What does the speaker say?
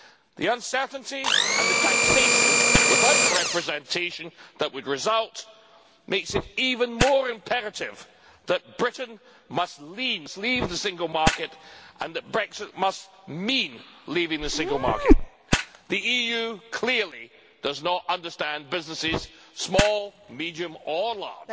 The uncertainty and the taxation without representation that would result makes it even more imperative that Britain must leave the single market and that Brexit must mean leaving the single market. The EU clearly does not understand businesses, small, medium or large.